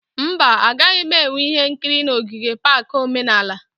Mba, a gaghị enwe ihe nkiri na ogige pak omenala